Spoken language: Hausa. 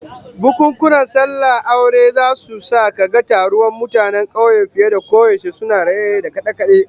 Bukunkunan sallah da aure zasu sa kaga taruwan mutanen kauye fiye da koyaushe, suna raye-raye da kade-kade